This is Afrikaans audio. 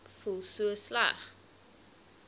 voel so sleg